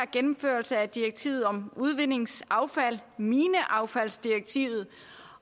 gennemførelse af direktivet om udvindingsaffald mineaffaldsdirektivet